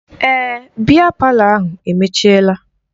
Èè, biya palọ ahụ emechiela